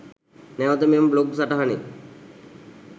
නැවත මෙම බ්ලොග් සටහනේ